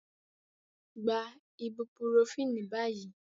Take the ibuprofen now